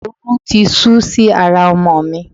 Oru ti sú si ara ọmọ mi.